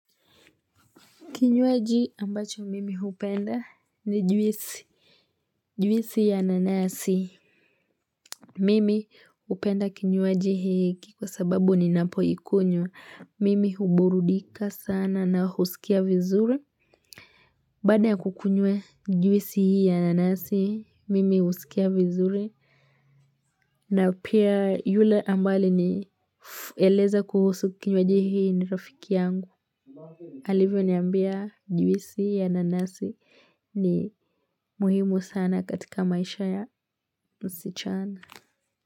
Kinywaji ambacho mimi hupenda ni juisi. Juisi ya nanasi. Mimi hupenda kinywaji hiki kwa sababu ni napo ikunywa. Mimi huburudika sana na huskia vizuri. Baada ya kukunywa juisi hii ya nanasi, mimi husikia vizuri. Na pia yule ambaye alinieleza kuhusu kinywaji hii ni rafiki yangu. Alivyo niambia juisi ya nanasi ni muhimu sana katika maisha ya msichana.